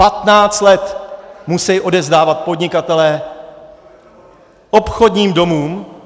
Patnáct let musejí odevzdávat podnikatelé obchodním domům...